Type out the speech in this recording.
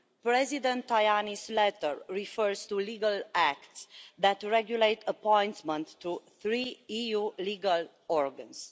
President Tajani's letter refers to legal acts that regulate appointments to three EU legal organs.